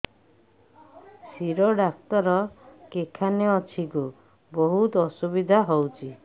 ଶିର doctor କେଖାନେ ଅଛେ ଗୋ ବହୁତ୍ ଅସୁବିଧା ହଉଚି